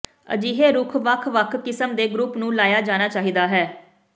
ਅਜਿਹੇ ਰੁੱਖ ਵੱਖ ਵੱਖ ਕਿਸਮ ਦੇ ਗਰੁੱਪ ਨੂੰ ਲਾਇਆ ਜਾਣਾ ਚਾਹੀਦਾ ਹੈ